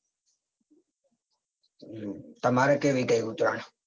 તમારે કેવી ગઈ ઉત્તરાયણ.